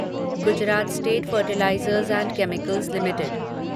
Gujarat state fertilisers and chemicals limited